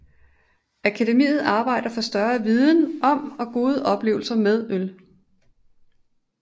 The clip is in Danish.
Akademiet arbejder for større viden om og gode oplevelser med øl